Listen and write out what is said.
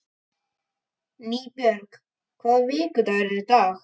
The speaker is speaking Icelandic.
Nýbjörg, hvaða vikudagur er í dag?